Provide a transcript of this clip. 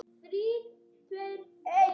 Alltaf með allt á hreinu.